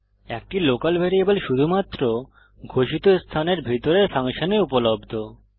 একটি local variable শুধুমাত্র ঘোষিত স্থানের ভিতরের ফাংশনে উপলব্ধ